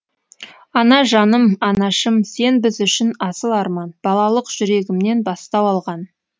ана жаным анашым сен біз үшін асыл арман балалық жүрегімнен бастау алған